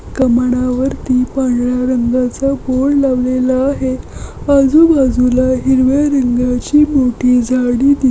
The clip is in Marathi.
कामानावरती पांढर्‍या रंगाचा बोर्ड लावलेला आहे. आजु बाजूला हिरव्या रंगाची मोठी झाडे दी --